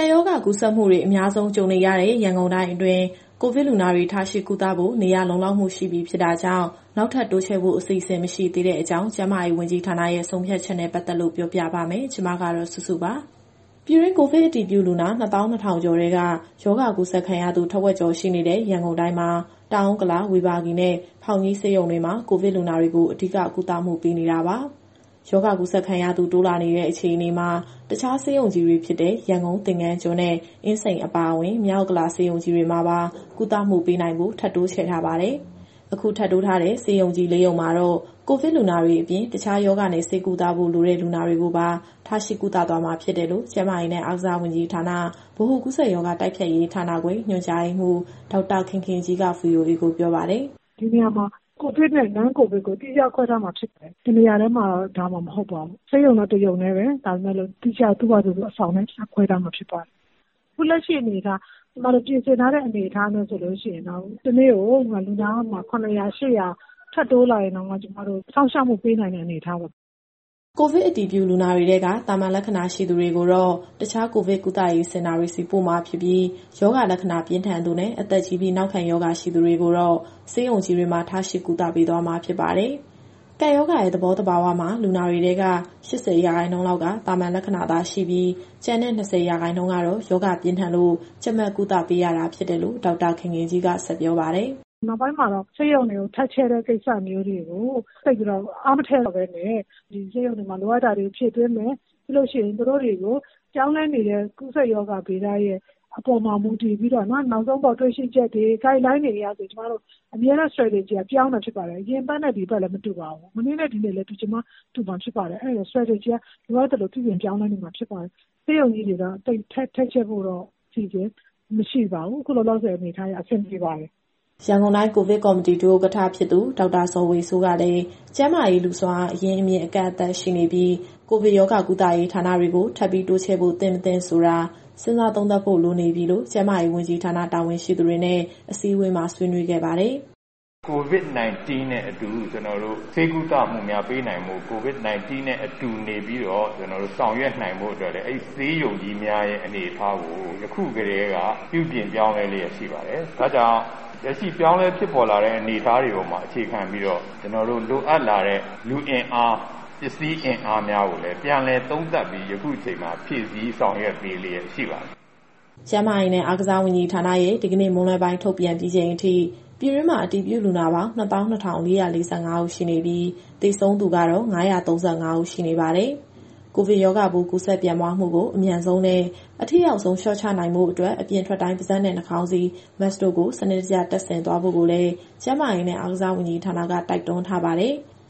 ပ်ရောဂါ ကူးစက်မှုတွေ အများဆုံးကြုံနေရတဲ့ ရန်ကုန်တိုင်းအတွင်း ကိုဗစ်လူနာတွေကို ထားရှိကုသဖို့ နေရာလုံလောက်မှု ရှိပြီဖြစ်တာကြောင့် နောက်ထပ် တိုးချဲ့ဖို့ အစီအစဉ်မရှိသေးကြောင်း ကျန်းမာရေးဝန်ကြီးဌာနရဲ့ ဆုံးဖြတ်ချက်နဲ့ ပတ်သက်လို့ပြောပြပါမယ်။ ဒီသတင်းကို ဗွီအိုအေမြန်မာပိုင်း သတင်းထောက် မစုစုက တင်ဆက်ပေးမှာပါ။ ပြည်တွင်း ကိုဗစ်အတည်ပြုလူနာ ၂၂,၀၀၀ ကျော်ထဲက ရောဂါကူးစက်ခံရသူ ထက်ဝက်ကျော်ရှိနေတဲ့ ရန်ကုန်တိုင်းမှာ တောင်ဥက္ကလာ၊ ဝေဘာဂီနဲ့ ဖောင်ကြီးဆေးရုံတွေမှာ ကိုဗစ်လူနာတွေကို အဓိကကုသမှုပေးနေတာပါ။ ရောဂါကူးစက်ခံရသူ တိုးလာနေတဲ့အခြေအနေမှာ တခြားဆေးရုံကြီးတွေဖြစ်တဲ့ ရန်ကုန်၊ သင်္ဃန်းကျွန်းနဲ့ အင်းစိန်အပါအဝင်၊ မြောက်ဥက္ကလာဆေးရုံကြီးတွေမှာပါ ကုသမှုပေးနိုင်ဖို့ ထပ်တိုးချဲ့ထားပါတယ်။ အခုထပ်တိုးထားတဲ့ ဆေးရုံကြီး ၄ ရုံမှာတော့ ကိုဗစ်လူနာတွေအပြင် တခြားရောဂါနဲ့ ဆေးကုသဖို့လိုတဲ့ လူနာတွေကိုပါ ထားရှိသွားမှာဖြစ်တယ်လို့ ကျန်းမာရေးနဲ့အားကစားဝန်ကြီးဌာန၊ ဗဟိုကူးစက်ရောဂါတိုက်ဖျက်ရေးဌာနခွဲ ညွှန်ကြားရေးမှူး ဒေါက်တာခင်ခင်ကြီးက VOA ကိုပြောပါတယ်။ “ဒီနေရာမှာ COVID နဲ့ Non-COVID ကို သီးခြားခွဲထားမှာဖြစ်ပါတယ်။ တနေရာတည်းမှာ ထားမှာမဟုတ်ပါဘူး။ ဆေးရုံတော့ တရုံတည်းပဲ၊ ဒါပေမဲ့လို့ သူ့ဟာသူအဆောင်နဲ့ သီးခြားခွဲထားမှာဖြစ်ပါတယ်။ အခုလက်ရှိအနေအထား ကျမတို့ပြင်ဆင်ထားတဲ့ အနေအထားနဲ့ဆိုရင်တော့ တနေ့ကို လူနာ ၇၀၀ - ၈၀၀ ထပ်တိုးလာရင်တောင်မှ ကျမတို့စောင့်ရှောက်မှုပေးနိုင်တဲ့ အနေအထားပါ။” ကိုဗစ်အတည်ပြုလူနာတွေထဲက သာမန်လက္ခဏာရှိသူတွေကိုတော့ တခြားကိုဗစ်ကုသရေးစင်တာတွေဆီ ပို့မှာဖြစ်ပြီး၊ ရောဂါလက္ခဏာပြင်းထန်သူနဲ့ အသက်ကြီးပြီး နောက်ခံရောဂါရှိသူတွေကိုတော့ ဆေးရုံကြီးတွေမှာ ထားရှိကုသပေးသွားမှာဖြစ်ပါတယ်။ ကပ်ရောဂါရဲ့သဘောသဘာဝမှာ လူနာတွေထဲက ၈၀ ရာခိုင်နှုန်းလောက်က သာမန်လက္ခဏာသာရှိပြီး၊ ကျန်တဲ့ ၂၀ ရာခိုင်နှုန်းကတော့ ရောဂါပြင်းထန်လို့ ကြပ်မတ်ကုသပေးရတာဖြစ်တယ်လို့ ဒေါက်တာခင်ခင်ကြီးက ဆက်ပြောပါတယ်။ “နောက်ပိုင်းမှာတော့ ဆေးရုံတွေထပ်ချဲ့တဲ့ ကိစ္စမျိုးတွေကို သိပ်ပြီးတော့ အားမထည့်တော့ပဲနဲ့ ဒီဆေးရုံတွေမှာလိုအပ်တာတွေ ဖြည့်သွင်းမယ်။ ပြီးလို့ရှိရင် သူတို့တွေကိုပြောင်းလဲနေတဲ့ ကူးစက်ရောဂါဗေဒရဲ့ အပေါ်မှာ မူတည်ပြီးတော့ နောက်ဆုံးပေါ်တွေ့ရှိချက်တွေ၊ Guideline တွေအရဆိုရင် ကျမတို့အမြဲတမ်း Strategy ကပြောင်းနေတာဖြစ်ပါတယ်။ အရင်အပတ်နဲ့ ဒီတပတ်လည်း မတူပါဘူး။ မနေ့နဲ့ ဒီနေ့လည်း တူချင်မှတူမှာ ဖြစ်ပါတယ်။ အဲဒီတော့ Strategy ကလိုအပ်သလို ပြုပြင်ပြောင်းလဲနေမှာဖြစ်ပါတယ်။ ဆေးရုံကြီးတွေက ထပ်ချဲ့ဖို့တော့အစီအစဉ် မရှိပါဘူး။ အခုလောလောဆယ် အနေအထားအရ အဆင်ပြေပါတယ်။” ရန်ကုန်တိုင်းကိုဗစ်ကော်မတီ ဒုဥက္ကဋ္ဌ ဖြစ်သူ ဒေါက်တာဇော်ဝေစိုးကလည်း ကျန်းမာရေးလူ့ စွမ်းအားအရင်းအမြစ် အကန့်အသတ်ရှိနေပြီး၊ ကိုဗစ်ရောဂါကုသရေးဌာနတွေကို ထပ်ပြီးတိုးချဲ့ဖို့သင့်၊ မသင့်ဆိုတာ စဉ်းစားသုံးသပ်ဖို့လိုနေပြီလို့ ကျန်းမာရေးဝန်ကြီးဌာနတာဝန်ရှိသူတွေနဲ့ အစည်းအဝေးမှာ ဆွေးနွေးခဲ့ပါတယ်။ “COVID- 19 နဲ့အတူ ကျနော်တို့ ဆေးကုသမှုများပေးနိုင်ဖို့၊ COVID- 19 နဲ့အတူနေပြီးတော့ ကျနော်တို့ဆောင်ရွက်နိုင်ဖို့အတွက်လည်း အဲဒီဆေးရုံကြီးများရဲ့အနေအထားကို ယခုကတည်းက ပြုပြင်ပြောင်းလဲလျက်ရှိပါတယ်။ ဒါ့ကြောင့် လက်ရှိပြောင်းလဲဖြစ်ပေါ်လာတဲ့ အနေအထားတွေပေါ်မှာ အခြေခံပြီးတော့ ကျနော်တို့လိုအပ်လာတဲ့ လူအင်အား၊ ပစ္စည်းအင်အားများကိုလည်း ပြန်လည်သုံးသပ်ပြီး ယခုအချိန်မှာဖြည့်ဆည်း ဆောင်ရွက်ပေးလျက်ရှိပါတယ်။” ကျန်းမာရေးနဲ့ အားကစားဝန်ကြီးဌာနရဲ့ဒီကနေ့မွန်းလွဲပိုင်းထုတ်ပြန်ပြီးချိန်အထိ ပြည်တွင်းမှာအတည်ပြုလူနာပေါင်း ၂၂,၄၄၅ ဦးရှိနေပြီး၊ သေဆုံးသူကတော့ ၅၃၅ ဦးရှိနေပါတယ်။ ကိုဗစ်ရောဂါပိုး ကူးစက်ပြန့်ပွားမှုကို အမြန်ဆုံးနဲ့ အထိရောက်ဆုံး လျှော့ချနိုင်ဖို့အတွက် အပြင်ထွက်တိုင်း ပါးစပ်နဲ့နှာခေါင်းစည်း Mask တို့ကို စနစ်တကျတပ်ဆင်သွားဖို့ကိုလည်း ကျန်းမာရေးနဲ့ အားကစားဝန်ကြီးဌာနက တိုက်တွန်းထားပါတယ်။